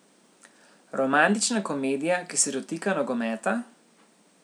Romantična komedija, ki se dotika nogometa?